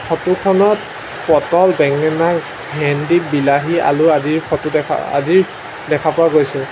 Photo খনত পটল বেঙেনা ভেন্দি বিলাহী আলু আদিৰ ফটো দেখা আদি দেখা পোৱা গৈছে।